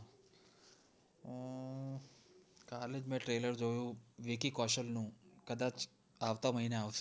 કાલે જ મેં trailer જોયું વિકી કૌશલ નું કદાચ આવતા મહિને આવશે